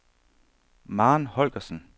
Maren Holgersen